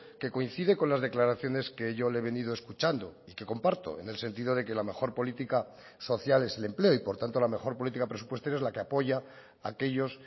que coincide con las declaraciones que yo le he venido escuchando y que comparto en el sentido de que la mejor política social es el empleo y por tanto la mejor política presupuestaria es la que apoya aquellos